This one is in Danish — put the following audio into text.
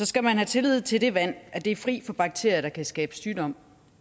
skal man have tillid til at det vand er fri for dødelige bakterier der kan skabe sygdom